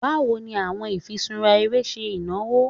Bawo ni awọn ifiṣura ere ṣe inawo?